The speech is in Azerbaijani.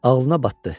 Ağlına batdı.